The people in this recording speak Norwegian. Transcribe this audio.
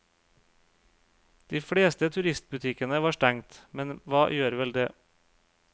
De fleste turistbutikkene var stengt, men hva gjør vel det.